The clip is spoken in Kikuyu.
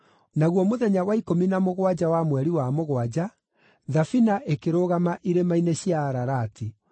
naguo mũthenya wa ikũmi na mũgwanja wa mweri wa mũgwanja, thabina ĩkĩrũgama irĩma-inĩ cia Ararati.